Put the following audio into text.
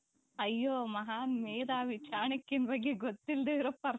ಅಯ್ಯೋ ಮಹಾನ್ ಮೇಧಾವಿ ಚಾಣಕ್ಯನ ಬಗ್ಗೆ ಗೊತ್ತಿಲ್ಲದೆ ಇರುವ person